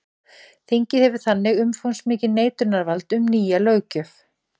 Þingið hefur þannig umfangsmikið neitunarvald um nýja löggjöf.